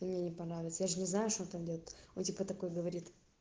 и мне не понравится я же не знаю что там будет и он типа такой говорит